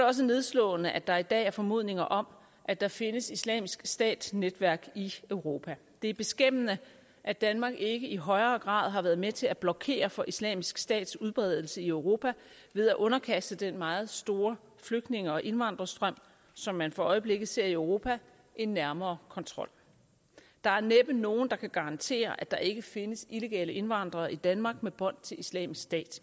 også nedslående at der i dag er formodninger om at der findes islamisk stat netværk i europa det er beskæmmende at danmark ikke i højere grad har været med til at blokere for islamisk stats udbredelse i europa ved at underkaste den meget store flygtninge og indvandrerstrøm som man for øjeblikket ser i europa en nærmere kontrol der er næppe nogen der kan garantere at der ikke findes illegale indvandrere i danmark med bånd til islamisk stat